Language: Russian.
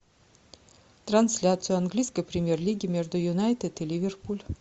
трансляция английской премьер лиги между юнайтед и ливерпуль